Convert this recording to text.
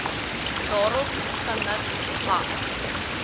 daarop gemik was